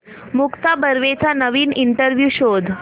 मुक्ता बर्वेचा नवीन इंटरव्ह्यु शोध